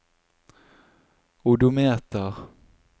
odometer